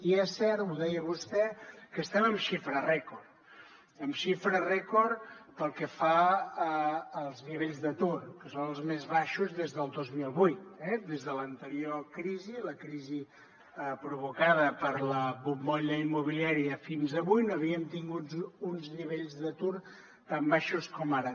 i és cert ho deia vostè que estem en xifra rècord en xifra rècord pel que fa als nivells d’atur que són els més baixos des del dos mil vuit eh des de l’anterior crisi la crisi provocada per la bombolla immobiliària fins avui no havíem tingut uns nivells d’atur tan baixos com ara